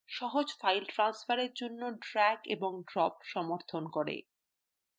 সহজ file ট্রান্সফারের জন্য drag এবং drop সমর্থন করে